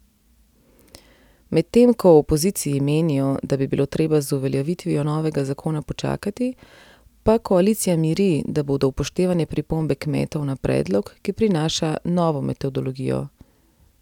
Medtem ko v opoziciji menijo, da bi bilo treba z uveljavitvijo novega zakona počakati, pa koalicija miri, da bodo upoštevane pripombe kmetov na predlog, ki prinaša novo metodologijo.